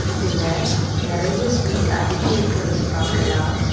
இதுல நறைய ஸ்வீட் அடுக்கிருக்கறதா பாக்கலா.